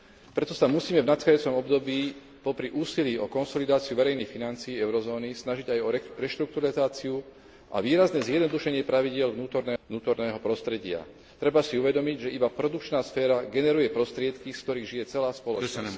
Preto sa musíme v nadchádzajúcom období popri úsilí o konsolidáciu verejných financií eurozóny snažiť aj o reštrukturalizáciu a výrazné zjednodušenie pravidiel vnútorného prostredia. Treba si uvedomiť, že iba produkčná sféra generuje prostriedky, z ktorých žije celá spoločnosť.